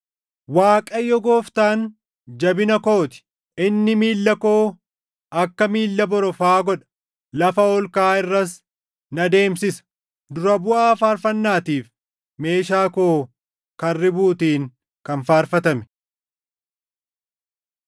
Waaqayyo Gooftaan jabina koo ti; inni miilla koo akka miilla borofaa godha; lafa ol kaʼaa irras na deemsisa. Dura buʼaa faarfannaatiif. Meeshaa koo kan ribuutiin kan faarfatame.